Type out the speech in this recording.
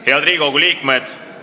Head Riigikogu liikmed!